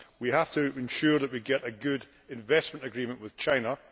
we have to ensure that we get a good investment agreement with China.